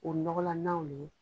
O nɔgɔlannaw de ye.